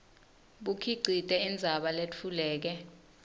bukhicite indzaba letfuleke